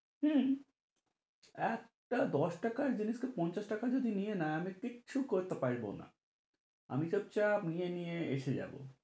হম একটা দশ টাকার জিনিস কে পঞ্চাশ টাকা যদি নিয়ে নেই আমি কিচ্ছু করিতে পারিব না আমি চুপ-চাপ নিয়ে নিয়ে আসে যাব।